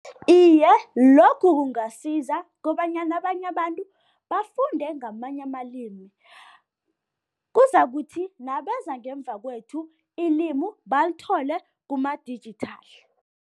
Iye, lokhu kungasiza kobanyana abanye abantu bafunde ngamanye amalimi. Kuzakuthi nabeza ngemva kwethu ilimu balithole kuma-digital.